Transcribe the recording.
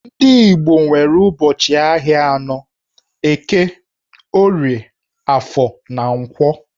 Ndị Igbo nwere ụbọchị ahịa anọ - Eke, Orie, Afọ, na Nkwọ.